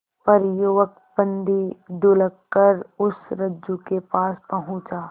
पर युवक बंदी ढुलककर उस रज्जु के पास पहुंचा